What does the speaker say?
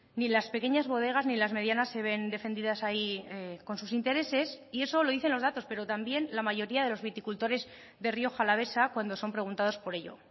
ni las pequeñas bodegas ni las medianas se ven defendidas ahí con sus intereses y eso lo dicen los datos pero también la mayoría de los viticultores de rioja alavesa cuando son preguntados por ello